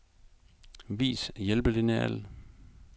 Vis hjælpelineal.